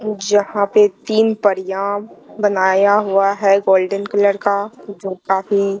जहां पे तीन परियां बनाया हुआ है गोल्डन कलर का जो काफी--